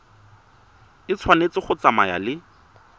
e tshwanetse go tsamaya le